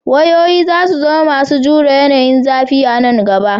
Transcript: Wayoyi za su zama masu jure yanayin zafi a nan gaba.